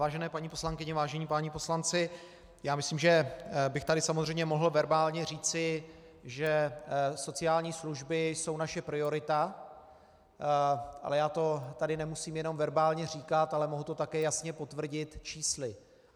Vážené paní poslankyně, vážení páni poslanci, já myslím, že bych tady samozřejmě mohl verbálně říci, že sociální služby jsou naše priorita, ale já to tady nemusím jenom verbálně říkat, ale mohu to také jasně potvrdit čísly.